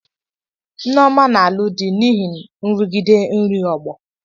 Nneoma na-alụ di n'ihi nrụgide ndị ọgbọ